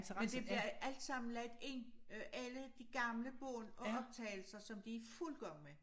Men det bliver alt sammen lagt ind øh alle de gamle bånd og optagelser som de i fuld gang med